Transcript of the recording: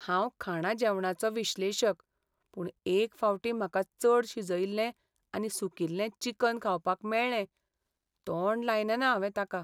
हांव खाणा जेवणाचो विश्लेशक, पूण एक फावटीं म्हाका चड शिजयिल्लें आनी सुकिल्लें चिकन खावपाक मेळ्ळें, तोंड लायलेना हांवें ताका.